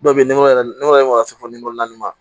Dɔw bɛ yennɔ ne yɛrɛ ma ka se fo naani ma